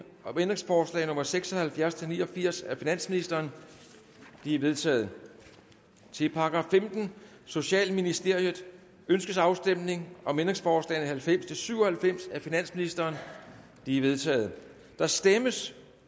om ændringsforslag nummer seks og halvfjerds til ni og firs af finansministeren de er vedtaget til § femtende socialministeriet ønskes afstemning om ændringsforslag nummer halvfems til syv og halvfems af finansministeren de er vedtaget der stemmes